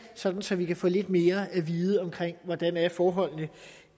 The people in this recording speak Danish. sådan så vi kan få lidt mere at vide om hvordan forholdene